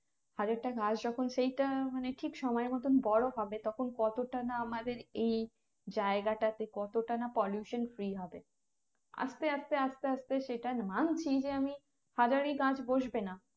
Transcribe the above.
হাজার টা গাছ যখন সেইটা মানে ঠিক সময় মতোন বড় হবে তখন কতটা না আমাদের এই জায়গাটাতে কতটা না pollution free হবে আস্তে আস্তে আস্তে আস্তে সেটার মান সেই যে আমি হাজারী গাছ বসবে না